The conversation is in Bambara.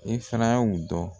I fana y'u dɔn.